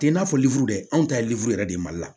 I n'a fɔ liwidu yɛrɛ dɛ anw ta ye yɛrɛ de ye mali la